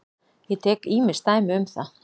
Ég tek ýmis dæmi um það.